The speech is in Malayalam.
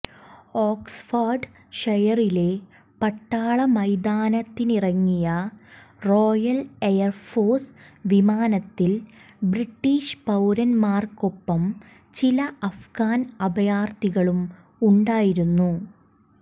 ഓക്സ്ഫാാർഡ് ഷയറിലെ പട്ടാള മൈതാനത്തിറങ്ങിയ റോയൽ എയർഫോഴ്സ് വിമാനത്തിൽ ബ്രിട്ടീഷ് പൌരന്മാർക്കൊപ്പം ചില അഫ്ഗാൻ അഭയാർത്ഥികളും ഉണ്ടായിരുന്നു